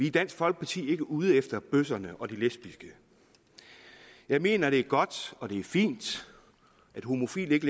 i dansk folkeparti ikke ude efter bøsserne og de lesbiske jeg mener at det er godt og det er fint at homofile ikke